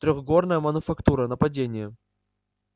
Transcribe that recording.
трёхгорная мануфактура нападение